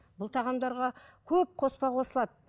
бұл тағамдарға көп қоспа қосылады